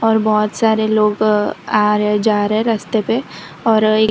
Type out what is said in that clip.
और बहुत सारे लोग आ रहे जा रहे रास्ते पे और--